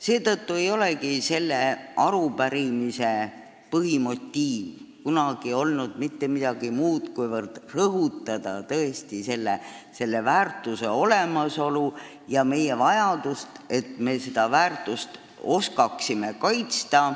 Seetõttu ei olegi selle arupärimise põhimotiiv mitte midagi muud kui soov rõhutada selle väärtuse olemasolu ja vajadust osata seda väärtust kaitsta.